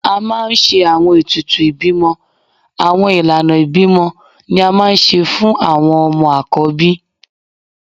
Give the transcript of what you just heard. A maa n ṣe awọn etùtù ibimọ Awọn ilana ibimọ ni a maa n ṣe fun awọn ọmọ akọbí.